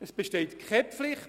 Es besteht keine Pflicht.